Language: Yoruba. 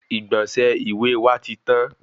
Igbọnsẹ ìwé wa tí tan